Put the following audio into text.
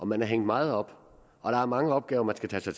man er hængt meget op og der er mange opgaver man skal tage sig